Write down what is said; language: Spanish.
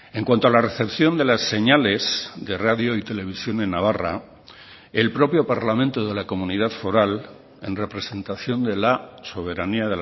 en cuanto a la recepción de las señales de radio y televisión en navarra el propio parlamento de la comunidad foral en representación de la soberanía